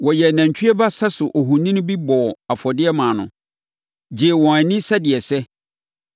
Wɔyɛɛ nantwie ba sɛso ohoni bi bɔɔ afɔdeɛ maa no, gyee wɔn ani sɛdeɛ ɛsɛ.